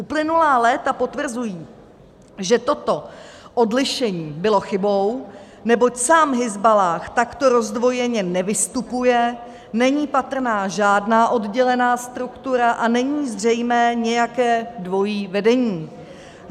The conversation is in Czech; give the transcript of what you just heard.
Uplynulá léta potvrzují, že toto odlišení bylo chybou, neboť sám Hizballáh takto rozdvojeně nevystupuje, není patrná žádná oddělená struktura a není zřejmé nějaké dvojí vedení.